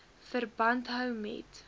verband hou met